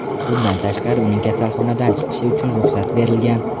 Bundan tashqari, uning kasalxonadan chiqishi uchun ruxsat berilgan.